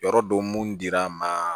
Yɔrɔ dɔ mun dir'an ma